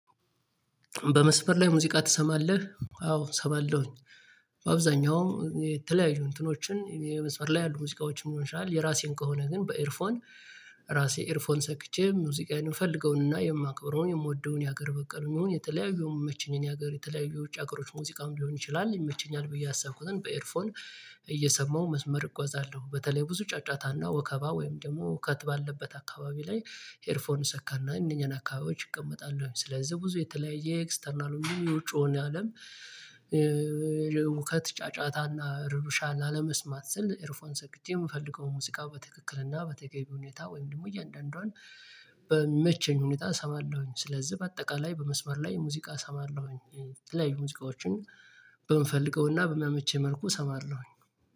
በመስመር ላይ ሙዚቃ ትሰማለህ? አዎ እሰማለሁኝ። በአብዛኛው የተለያዩ እንትኖችን የመስመር ላይ ሙዚቃዎችን መሆን ይችላል የራሴን ከሆነ ግን በኤርፎን በራሴ ኤርፎን ሰክቼ ሙዚቃዬን ምፈልገውንና የማክብረውን የምወደውን የሀገር በቀሉን የተለያዩ የሚመቸኝን የሀገር የተለያዩ የውጭ ሀገሮች ሙዚቃም ሊሆን ይችላል ይመቸኛል ብዬ ያሰብኩትን በኤርፎን እየሰማሁ መስመር እጉአዛለሁ በተለይ ብዙ ጫጫታና ወከባ ወይም ደግሞ ሁከት ባለበት አካባቢ ላይ። ኤርፎን እሰካና እነኛን አካባቢዎች እቀመጣለሁ ስለዚህ ብዙ የተለያየ ኤክስተርናል ወይንም የውጭውን አለም። ሁከት ጫጫታና ረብሻ ላለመስማት ስል ኤርፎን ሰክቼ የምፈልገውን ሙዚቃ በትክክልና በተገቢ ሁኔታ ወይም ደግሞ እያንዳንዷን በሚመቸኝ ሁኔታ እሰማለሁ ስለዚህ በአጠቃላይ በመስመር ላይ ሙዚቃ እሰማለሁ። የተለያዩ ሙዚቃዎችን በምፈልገውና በሚመቸኝ መልኩ እሰማለሁኝ።